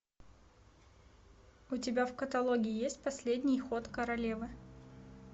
у тебя в каталоге есть последний ход королевы